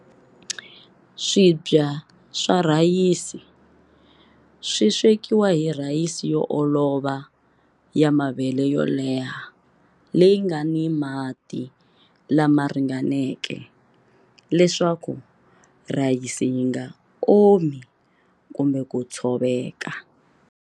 Swibya swa rhayisi swi swekiwa hi rhayisi yo olova ya mavele yo leha leyi nga ni mati lama ringaneke leswaku rhayisi yi nga omi kumbe ku tshoveka.